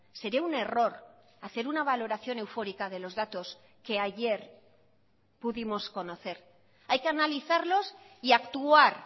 sería un error hacer una valoración eufórica de los datos que ayer pudimos conocer hay que analizarlos y actuar